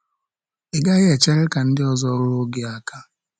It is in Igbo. Ị gaghị echere ka ndị ọzọ ruo gị aka.